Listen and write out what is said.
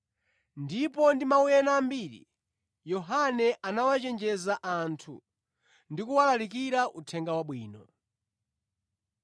Ndipo ndi mawu ena ambiri, Yohane anawachenjeza anthu ndi kuwalalikira Uthenga Wabwino.